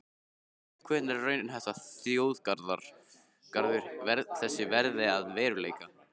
Hvenær er raunhæft að þjóðgarður þessi verði að veruleika?